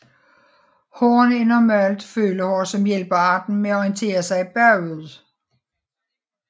Hårene er normalt følehår som hjælper arten med at orientere sig bagud